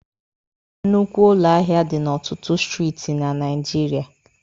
Nnukwu ụlọ ahịa dị n'ọtụtụ Steeti na Naijiria.